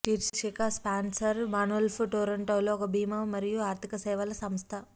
శీర్షిక sponsor Manulife టొరంటోలో ఒక భీమా మరియు ఆర్థిక సేవల సంస్థ